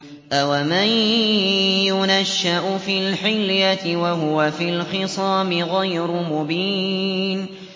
أَوَمَن يُنَشَّأُ فِي الْحِلْيَةِ وَهُوَ فِي الْخِصَامِ غَيْرُ مُبِينٍ